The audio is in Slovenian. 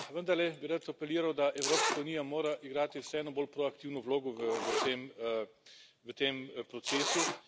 Vendarle bi rad apeliral, da Evropska unija mora igrati vseeno bolj proaktivno vlogo v tem procesu.